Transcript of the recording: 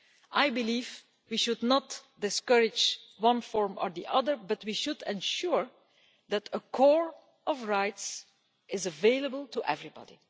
I believe we should not discourage one form or the other, but should ensure that a core of rights is available to everybody.